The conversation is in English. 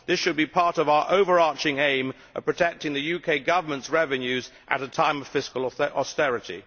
This should be part of our overarching aim of protecting the UK government's revenues at a time of fiscal austerity.